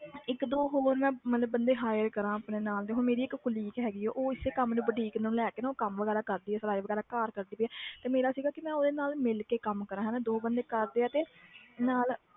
ਇੱਕ ਦੋ ਹੋਰ ਮੈਂ ਮਤਲਬ ਬੰਦੇ hire ਕਰਾਂ ਆਪਣੇ ਨਾਲ ਤੇ ਹੁਣ ਮੇਰੀ ਇੱਕ colleague ਹੈਗੀ ਹੈ ਉਹ ਇਸੇ ਕੰਮ ਨੂੰ boutique ਨੂੰ ਲੈ ਕੇ ਨਾ ਉਹ ਕੰਮ ਵਗ਼ੈਰਾ ਕਰਦੀ ਹੈ ਸਿਲਾਈ ਵਗ਼ੈਰਾ ਘਰ ਕਰਦੀ ਪਈ ਹੈ ਤੇ ਮੇਰਾ ਸੀਗਾ ਕਿ ਮੈਂ ਉਹਦੇ ਨਾਲ ਮਿਲ ਕੰਮ ਕਰਾਂ ਹਨਾ ਦੋ ਬੰਦੇ ਕਰਦੇ ਆ ਤੇ ਨਾਲ